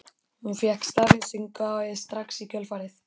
Hún fékk staðfestingu á því strax í kjölfarið.